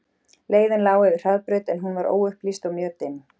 Leiðin lá yfir hraðbraut en hún var óupplýst og mjög dimm.